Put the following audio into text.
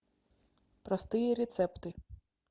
простые рецепты